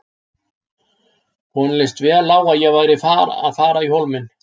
Honum leist vel á að ég væri að fara í Hólminn.